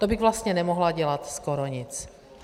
To bych vlastně nemohla dělat skoro nic.